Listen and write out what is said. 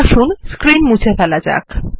আসুন স্ক্রীন মুছে ফেলা যাক